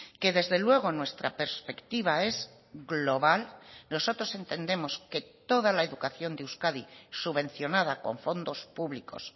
que desde luego nuestra perspectiva es global nosotros entendemos que toda la educación de euskadi subvencionada con fondos públicos